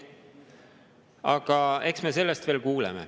Aga eks me sellest veel kuuleme.